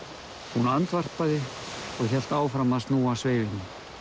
hún andvarpaði og hélt áfram að snúa sveifinni